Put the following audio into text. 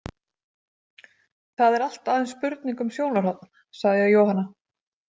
Það er allt aðeins spurning um sjónarhorn, sagði Jóhanna.